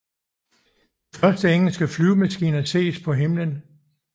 De første engelske flyvemaskiner ses på himlen